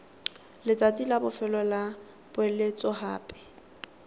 letsatsi la bofelo la poeletsogape